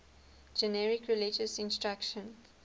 generic religious instruction